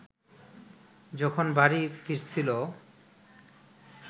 যখন বাড়ি ফিরছিল